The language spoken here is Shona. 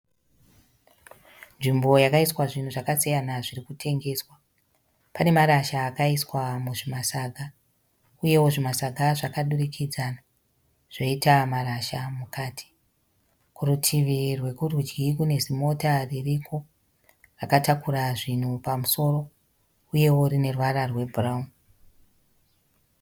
Nzvimbo yakaiswa zvinhu zvakasiyana zvirikutengeswa. Panemarasha akaiswa muzvimatsvaga. Uyewo zvimatsaga zvakadurikidzana, zvoita marasha mukati. Kurutivi rwekurudyi kune zimota ririko rakatakura zvinhu pamusoro, uye rineruvara rwebhurawuni.